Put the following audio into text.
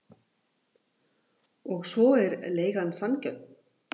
Og svo er leigan sanngjörn.